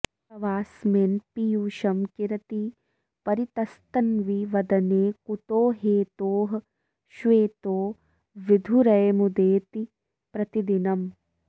तवाऽस्मिन् पीयूषं किरति परितस्तन्वि वदने कुतो हेतोः श्वेतो विधुरयमुदेति प्रतिदिनम्